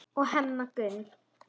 og Hemma Gunn.